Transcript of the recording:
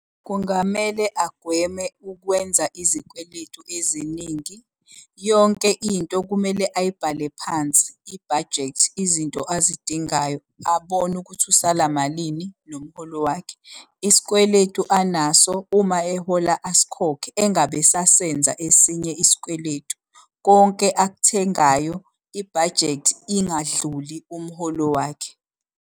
Kungamele agweme ukwenza izikweletu eziningi. Yonke into kumele ayibhale phansi, ibhajethi, izinto azidingayo abone ukuthi usala malini nomholo wakhe. Isikweletu anaso, uma ehola asikhokhe engabe esasenza esinye isikweletu. Konke akuthengayo ibhajethi ingadluli umholo wakhe.